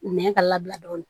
Nɛn ka labila dɔɔnin